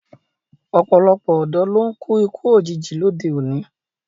Ọ̀pọ̀lọpọ̀ ọ̀dọ́ ló ń kú ikú òjijì lóde òní